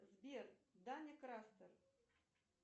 сбер даня крастер